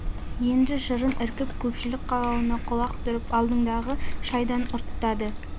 енді жырын іркіп көшпілік қалауына құлақ түріп алдыңдағы шайдан ұрттады